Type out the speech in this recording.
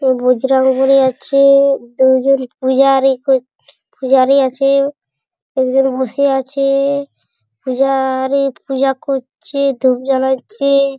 দুজন পূজারী পূজারী আছে -এ একজন বসে আছে-এ পূজা-আ -রী পূজা কর-ছে-এ ধুপ জ্বালাচ্ছে।